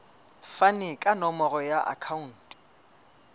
fane ka nomoro ya akhauntu